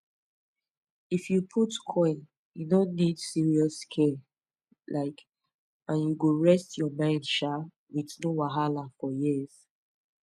if u put coil e no need serious care um and you go rest ur mind um with no wahala for years